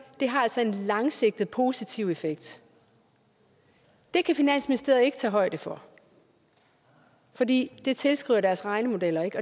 det har altså en langsigtet positiv effekt det kan finansministeriet ikke tage højde for fordi det tilskriver deres regnemodeller ikke